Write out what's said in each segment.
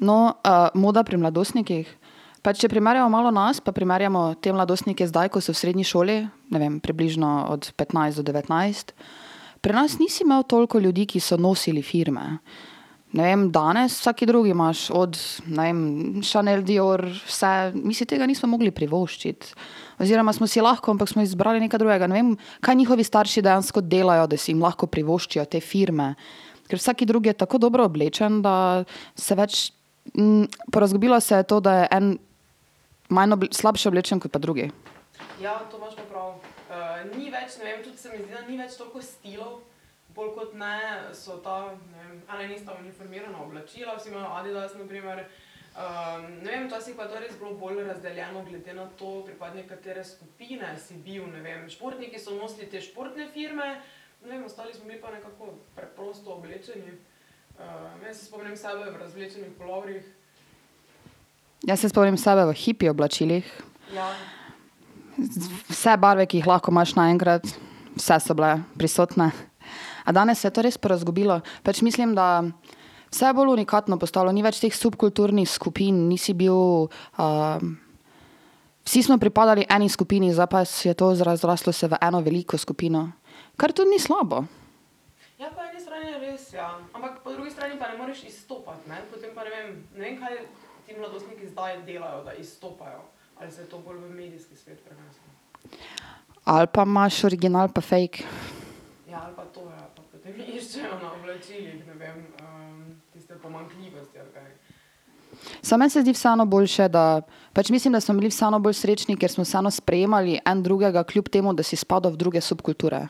No, moda pri mladostnikih, pa če primerjamo malo nas pa primerjamo te mladostnike zdaj, ko so v srednji šoli, ne vem, približno od petnajst do devetnajst, pri nas nisi imel toliko ljudi, ki so nosili firme. Ne vem, danes, vsak drugi imaš, od, ne vem, Chanel, Dior, vse, mi si tega nismo mogli privoščiti oziroma smo si lahko, ampak smo izbrali nekaj drugega, ne vem, kaj njihovi starši dejansko delajo, da si lahko privoščijo te firme. Ker vsak drugi je tako dobro oblečen, da se več porazgubilo se je to, da je en manj slabše oblečen kot pa drugi. Jaz se spomnim sebe v hipi oblačilih. vse barve, ki jih lahko imaš naenkrat, vse so bile prisotne. A danes se je to res porazgubilo, pač mislim, da vse je bolj unikatno postalo, ni več teh subkulturnih skupin, nisi bil, vsi smo pripadali eni skupini, zdaj pa se je to razraslo vse v eno veliko skupino. Kar to ni slabo. Ali pa imaš original pa fake. Samo meni se zdi vseeno boljše, da ... Pač mislim, da smo bili vseeno bolj srečni, ker smo vseeno sprejemali en drugega, kljub temu da si spadal v druge subkulture.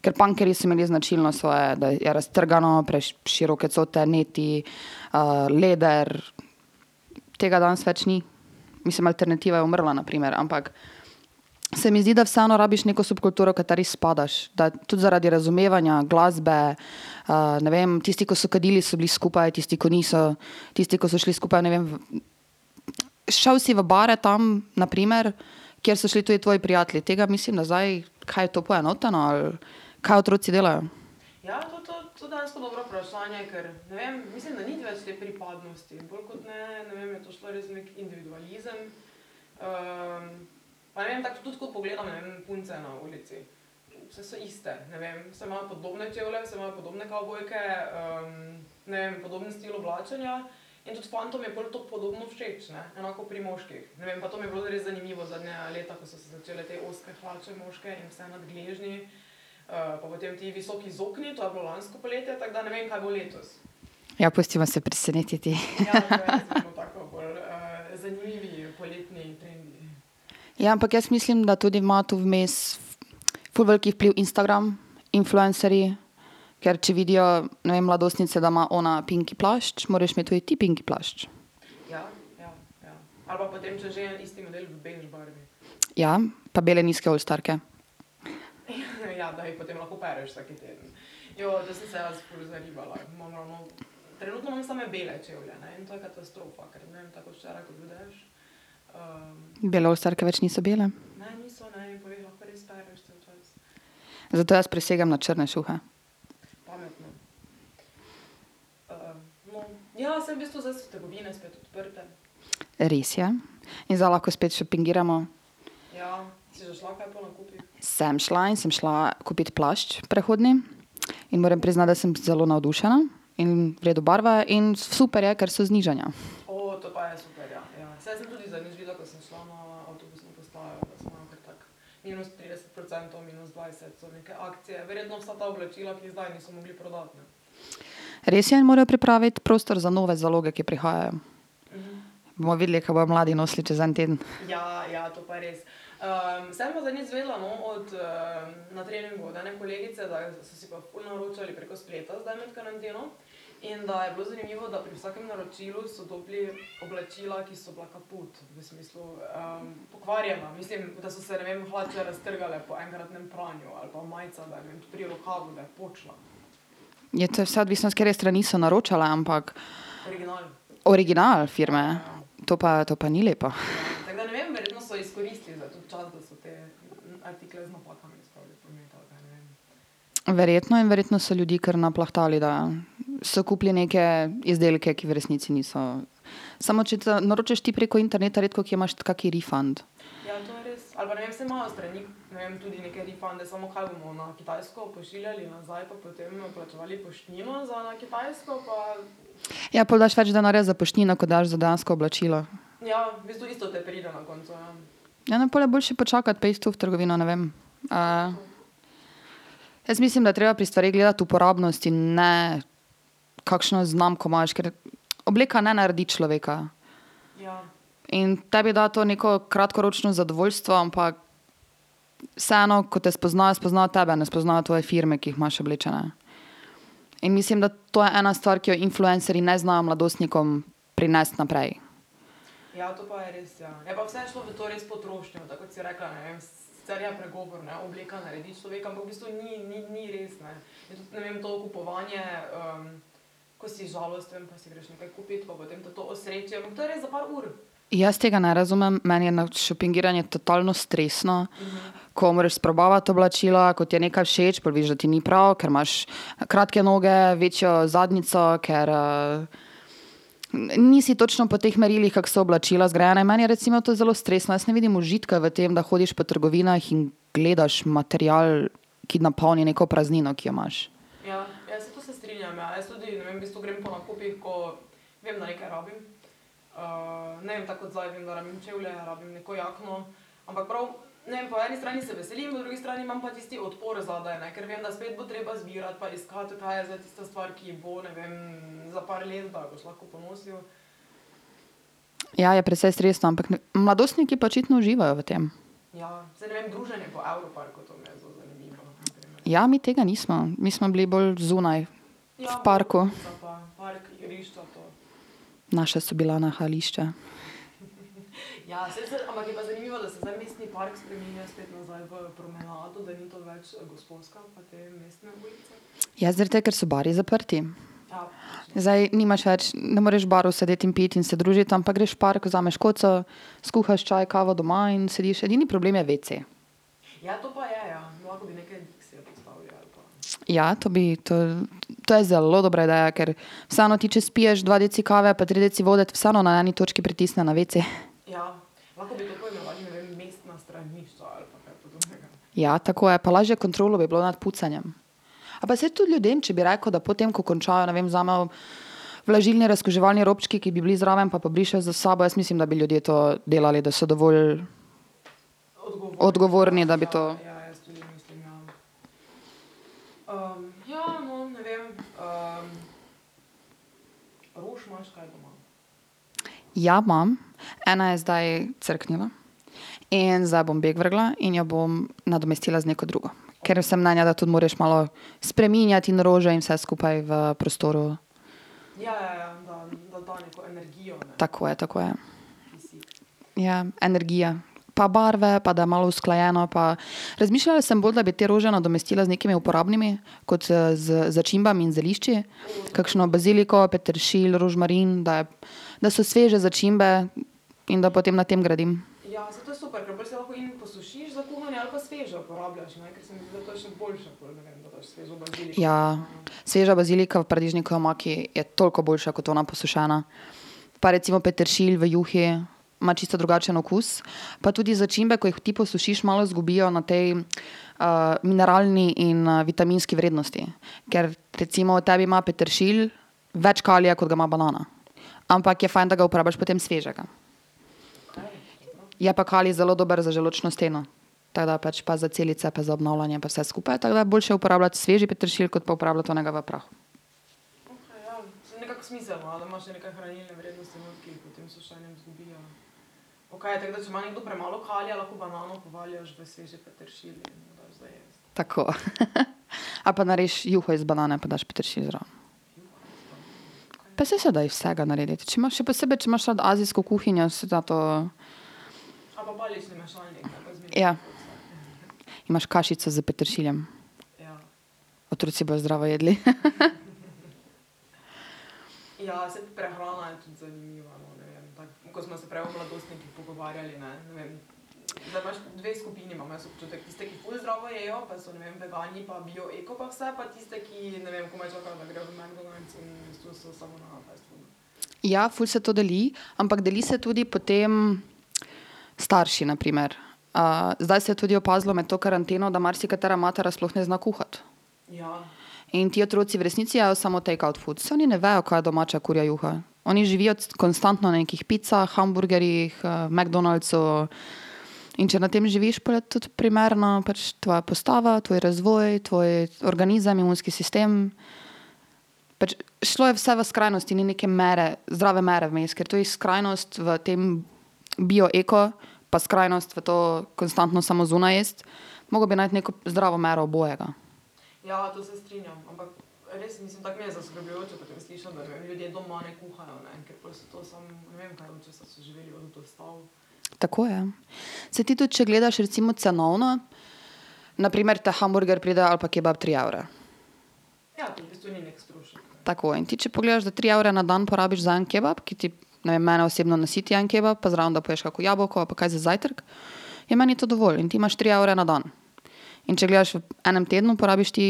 Ker pankerji smo imeli značilno svoje raztrgano, preširoke cote, niti , leder ... Tega danes več ni. Mislim, alternativa je umrla, na primer, ampak se mi zdi, da vseeno rabiš neko subkulturo, kateri spadaš, da tudi zaradi razumevanja glasbe , ne vem, tisti, ko so kadili, so bili skupaj, tisti, ki niso, tisti, ko so šli skupaj, ne vem, ... Šel si v bare tam, na primer, kjer so šli tudi tvoji prijatelji, tega mislim, da zdaj, kaj je to poenoteno, ali ... Kaj otroci delajo? Ja, pustiva se presenetiti. Ja, ampak jaz mislim, da tudi ima to vmes ful velik vpliv Instagram, influencerji, ker če vidijo, ne vem, mladostnice, da ima ona pinki plašč, moraš imeti tudi ti pinki plašč. Ja, pa bele nizke olstarke. Bele olstarke več niso bele. Zato jaz prisegam na črne šuhe. Res je. In zdaj lahko spet šopingiramo. Sem šla in sem šla kupit plašč prehodni. In moram priznati, da sem zelo navdušena, in v redu barve in super je, ker so znižanja. Res je, in morajo pripraviti prostor za nove zaloge, ki prihajajo. Bova videli, kaj bojo mladi nosili čez en teden. Ja, to je vse odvisno, s katere strani so naročali, ampak ... Original firme? To pa, to pa ni lepo. Verjetno in verjetno so ljudi kar naplahtali, da so kupili neke izdelke, ki v resnici niso ... Samo če naročaš ti preko interneta, redkokje imaš kak refund. Ja, pol daš več denarja za poštnino, kot daš za dejansko oblačilo. Ja, no, pol je boljše počakati pa iti to v trgovino, ne vem, ... Jaz mislim, da je treba pri stvareh gledati uporabnost in ne kakšno znamko imaš, ker obleka ne naredi človeka. In tebi da to neko kratkoročno zadovoljstvo, ampak vseeno, ko te spoznajo, spoznajo tebe, ne spoznajo tvoje firme, ki jih imaš oblečene. In mislim, da to je ena stvar, ki jo influencerji ne znajo mladostnikom prinesti naprej. Jaz tega ne razumem, meni je šopingiranje totalno stresno, ko moraš sprobavati oblačila, ko ti je nekaj všeč, pa veš, da ti ni prav, ker imaš kratke noge, večjo zadnjico, ker nisi točno po teh merilih, kak so oblačila zgrajena, in meni je recimo to zelo stresno, jaz ne vidim užitka v tem, da hodiš po trgovinah in gledaš material, ki napolni neko praznino, ki jo imaš. Ja, je precej stresno, ampak mladostniki pa očitno uživajo v tem. Ja, mi tega nismo, mi smo bili bolj zunaj, v parku. Naša so bila nahajališča. Ja, zaradi tega, ker so bari zaprti. Zdaj nimaš več, ne moreš v baru sedeti in piti in se družiti, ampak greš v park, vzameš koco, skuhaš čaj, kavo doma in sediš, edini problem je wc. Ja, to bi, to ... To je zelo dobra ideja, ker vseeno ti, če spiješ dva deci kave pa tri deci vode, te vseeno na eni točki pritisne na wc. Ja, tako je, pa lažja kontrola bi bila nad pucanjem. A pa saj tudi ljudem, če bi rekel, da potem, ko končajo, ne vem, vzamejo vlažilne razkuževalne robčke, ki bi bili zraven, pa pobrišejo za sabo, jaz mislim, da bi ljudje to delali, da so dovolj ... Odgovorni, da bi to ... Ja, imam. Ena je zdaj crknila. In zdaj bom bek vrgla in jo bom nadomestila z neko drugo, ker sem mnenja, da tudi moraš malo spreminjati in rože in vse skupaj v prostoru. Tako je, tako je. Ja, energija. Pa barve, pa da je malo usklajeno, pa ... Razmišljala sem bolj, da bi te rože nadomestila z nekimi uporabnimi, kot z začimbami in zelišči, kakšno baziliko, peteršilj, rožmarin, da je, da so sveže začimbe in da potem na tem gradim. Ja. Sveža bazilika v paradižnikovi omaki je toliko boljša kot ona posušena. Pa recimo peteršilj v juhi ima čisto drugačen okus, pa tudi začimbe, ko jih ti posušiš, malo zgubijo na tej mineralni in vitaminski vrednosti. Ker recimo tebi ima peteršilj več kalija, kot ga ima banana. Ampak je fajn, da ga uporabiš potem svežega. Je pa kalij zelo dober za želodčno steno. Tako da pač, pa za celice pa za obnavljanje pa vse skupaj, tako da boljše uporabljati sveži peteršilj, kot pa uporabljati onega v prahu. Tako. Ali pa narediš juho iz banane pa daš peteršilj zraven. Pa saj se da iz vsega narediti, če imaš, še posebej, če imaš rad azijsko kuhinjo, se da to ... Ja. Imaš kašico s peteršiljem. Otroci bojo zdravo jedli. Ja, ful se to deli. Ampak deli se tudi po tem, starši, na primer. zdaj se je tudi opazilo med to karanteno, da marsikatera mati sploh ne zna kuhati. In ti otroci v resnici jejo samo takeout foods, saj oni ne vejo, kaj je domača kurja juha, oni živijo konstantno na nekih picah, hamburgerjih, McDonald'sov, in če na tem živiš, pol je tudi primerna pač tvoja postava, tvoj razvoj, tvoj organizem, imunski sistem. Pač šlo je vse v skrajnosti in ni neke mere, zdrave mere vmes, ker to je skrajnosti v tem bio, eko, pa skrajnosti v to, konstantno samo zunaj jesti. Mogel bi najti neko zdravo mero obojega. Tako, ja. Saj ti tudi, če gledaš, recimo, cenovno, na primer, te hamburger pride, ali pa kebab, tri evre. Tako, in ti če pogledaš, za tri evre na dan porabiš za en kebab, ki ti, ne vem, mene osebno nasiti en kebab, pa zraven da poješ kako jabolko pa kaj za zajtrk, je meni to dovolj, in ti imaš tri evre na dan. In če gledaš v enem tednu, porabiš ti,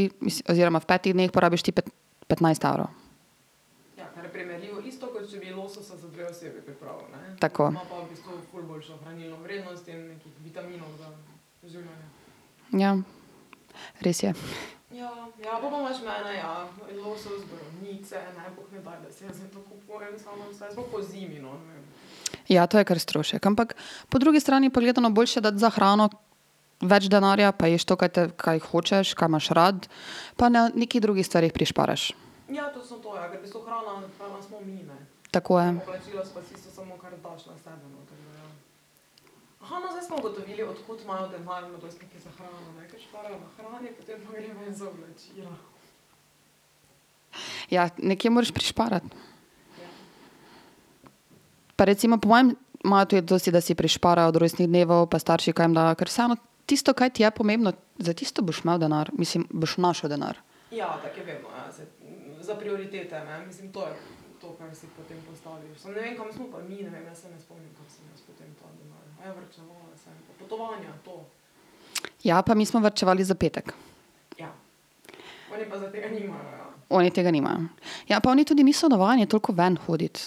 oziroma v petih dneh porabiš ti petnajst evrov. Tako. Ja. Res je. Ja, to je kar strošek, ampak po drugi strani pa gledano boljše dati za hrano več denarja, pa ješ to, kaj te, kaj hočeš, kaj imaš rad, pa na nekih drugih stvareh prišparaš. Tako, ja. Ja, nekje moraš prišparati. Pa recimo, po mojem imajo tudi to si, da si prišparajo od rojstnih dnevov, pa starši kaj jim dajo, ker vseeno, tisto, kaj ti je pomembno, za tisto boš imel denar, mislim, boš našel denar. Ja, pa mi smo varčevali za petek. Oni tega nimajo. Ja, po oni tudi niso navajeni toliko ven hoditi.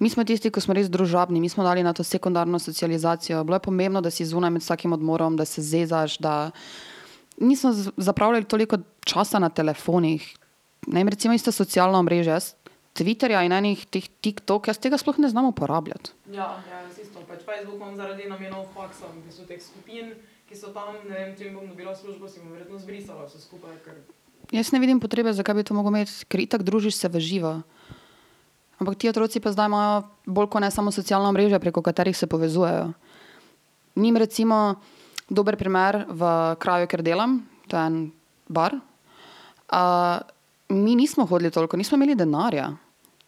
Mi smo tisti, ko smo res družabni, mi smo dali na to sekundarno socializacijo, bilo je pomembno, da si zunaj med vsakim odmorom, da se zezaš, da ... Nismo zapravljali toliko časa na telefonih. Ne vem, recimo, isto socialna omrežja. Jaz Twitterja in enih teh Tiktok, jaz tega sploh ne znam uporabljati. Jaz ne vidim potrebe, zakaj bi to mogel imeti, ker itak družiš se v živo. Ampak ti otroci pa zdaj imajo bolj kot ne samo socialna omrežja, preko katerih se povezujejo. Njim recimo, dober primer v kraju, kjer delam, to je en bar, mi nismo hodili toliko, nismo imeli denarja.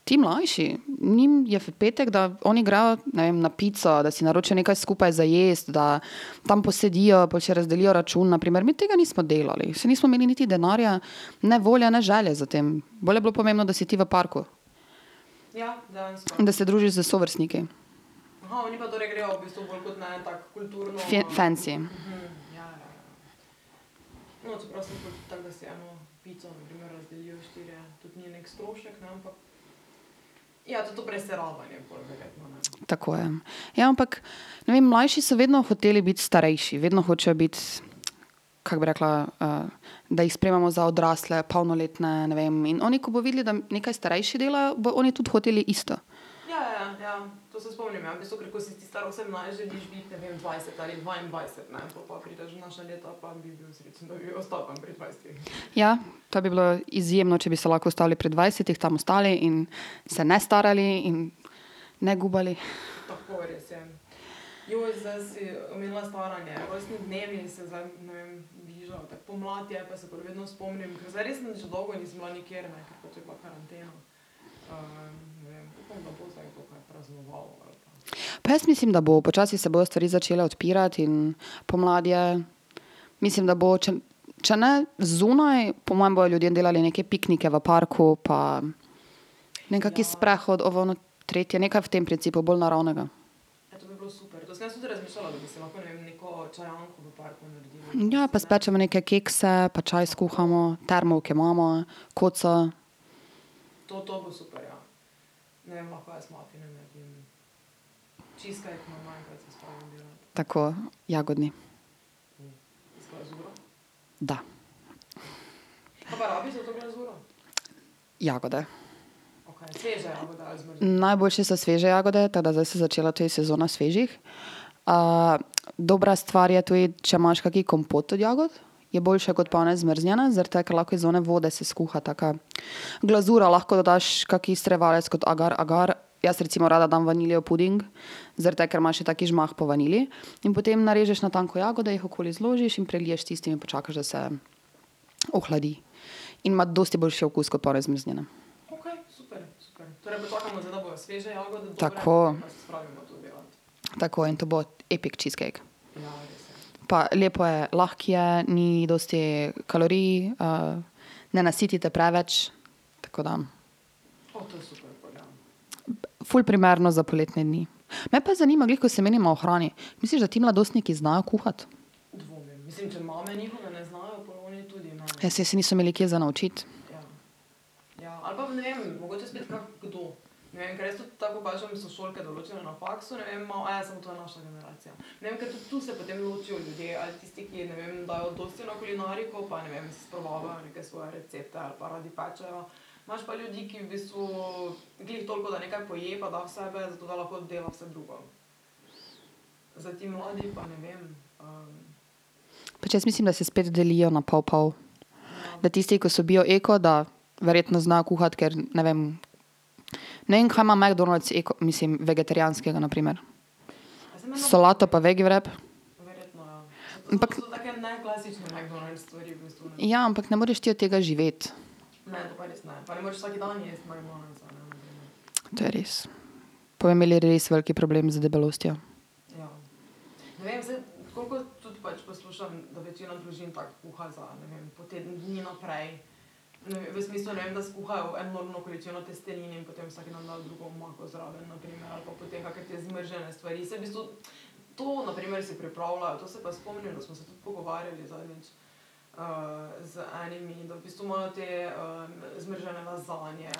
Ti mlajši, njim je v petek, da oni grejo, ne vem, na pico, da si naročijo nekaj skupaj za jesti, da tam posedijo, pol si razdelijo račun, na primer, mi tega nismo delali, saj nismo imeli niti denarja ne volje ne želje za tem, bolj je bilo pomembno, da si ti v parku. In da se družiš s sovrstniki. fensi. Tako, ja, ja, ampak, ne vem, mlajši so vedno hoteli biti starejši, vedno hočejo biti, kako bi rekla, da jih sprejemamo za odrasle, polnoletne, ne vem, in oni, ko bojo videli, da nekaj starejši delajo, bojo oni tudi hoteli isto. Ja, to bi bilo izjemno, če bi se lahko ustavili pri dvajsetih, tam ostali in se ne starali in ne gubali. Pa jaz mislim, da bo, počasi se bojo stvari začele odpirati in pomlad je, mislim, da bo, če ne zunaj, po mojem bojo ljudje delali neke piknike v parku pa nekak sprehod v ono tretje, nekaj v tem principu, bolj naravnega. Ja, pa spečemo neke kekse pa čaj skuhamo, termovke imamo, koco ... Tako, jagodni. Da. Jagode. Najboljše so sveže jagode, tako da zdaj se je začela tudi sezona svežih, dobra stvar je tudi, če imaš kak kompot od jagod, je boljše kot pa one zmrznjene, zaradi tega, ker lahko iz one vode se skuha taka, glazura, lahko dodaš kak strjevalec kot agar agar, jaz recimo rada dam vanilijev puding, zaradi tega, ker ima še taki žmah po vaniliji, in potem narežeš na tanko jagode, jih okoli zložiš in preliješ s tistim in počakaš, da se ohladi. In ima dosti boljši okus kot pa one zmrznjene. Tako. Tako, in to bo epic cheesecake. Pa lepo je, lahko je, ni dosti kalorij, ne nasiti te preveč, tako da ... Ful primerno za poletne dni. Me pa zanima, glih ko se menimo o hrani, misliš, da ti mladostniki znajo kuhati? Ja, saj se niso imeli kje za naučiti. Pač, jaz mislim, da se spet delijo na pol pol. Da tisti, ko so bil, eko, da verjetno znajo kuhati, ker, ne vem, ne vem, kaj ima McDonald's eko, mislim, vegetarijanskega, na primer. Solato pa vegi wrap? Ampak ... Ja, ampak ne moreš ti od tega živeti. To je res. Bojo imeli res velik problem z debelostjo.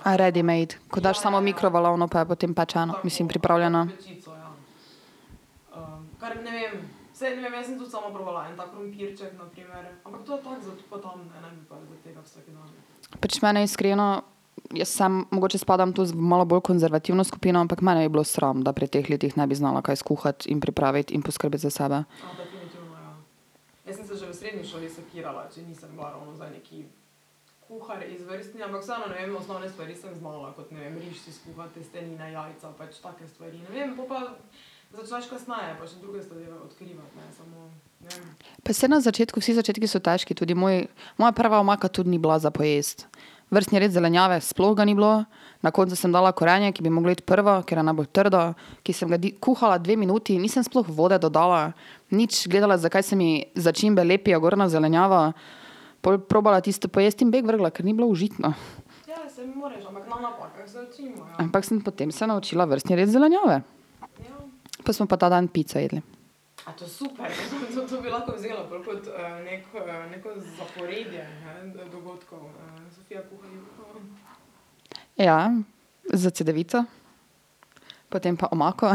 A readymade? Ko daš samo v mikrovalovno, pa je potem pečeno, mislim, pripravljeno. Pač mene iskreno, jaz sam mogoče spadam tu malo bolj konzervativno skupino, ampak mene bi bilo sram, da pri teh letih ne bi znala kaj skuhati in pripraviti in poskrbeti za sebe. Pa saj na začetku, vsi začetku so težki, tudi moj, moja prva omaka tudi ni bila za pojesti. Vrstni red zelenjave, sploh ga ni bilo, na koncu sem dala korenje, ki bi moglo iti prvo, ker je najbolj trdo, ki sem ga kuhala dve minuti, nisem sploh vode dodala, nič gledala, zakaj se mi začimbe lepijo gor na zelenjavo, pol probala tisto pojesti in bek vrgla, ker ni bilo užitno. Ampak sem potem se naučila vrstni red zelenjave. Pol smo pa ta dan pico jedli. Ja, s cedevito, potem pa omako.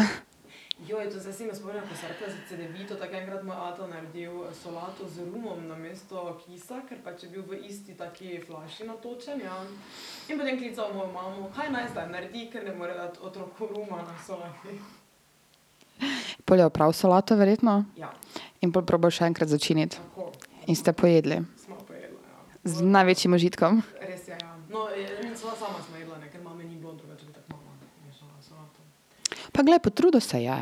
Pol je opral solato verjetno? In pol probal še enkrat začiniti. In ste pojedli. Z največjim užitkom? Pa glej, potrudil se je.